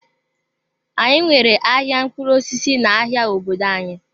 Anyị nwere ahịa mkpụrụ osisi n'ahịa obodo anyị.